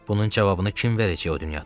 Bunun cavabını kim verəcək o dünyada?